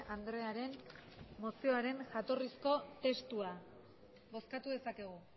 andrearen mozioaren jatorrizko testua bozkatu dezakegu